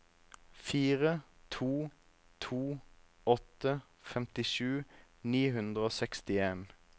fire to to åtte femtisju ni hundre og sekstien